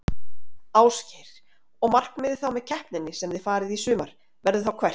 Ásgeir: Og markmiðið þá með keppninni sem þið farið í sumar, verður þá hvert?